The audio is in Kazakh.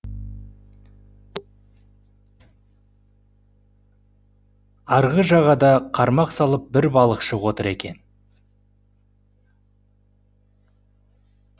арғы жағада қармақ салып бір балықшы отыр екен